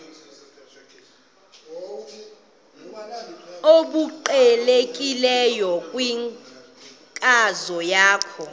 obuqhelekileyo kwinkcazo yakho